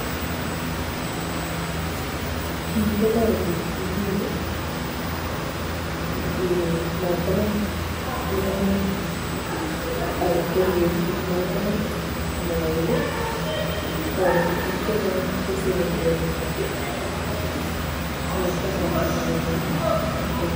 kii kotoreti biik matkonam mianwek akoribe biik matkonam moet toreti biik chechang kosaven borwekwak simatko sambasanda miando eng.